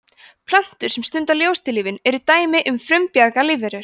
plöntur sem stunda ljóstillífun eru dæmi um frumbjarga lífverur